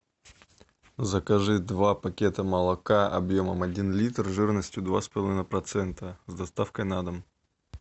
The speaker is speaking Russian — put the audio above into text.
закажи два пакета молока объемом один литр жирностью два с половиной процента с доставкой на дом